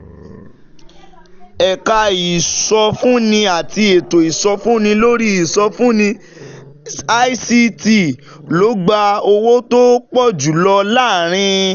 Ẹ̀ka ìsọfúnni àti ètò ìsọfúnni lórí ìsọfúnni (ICT) ló gba owó tó pọ̀ jù lọ láàárín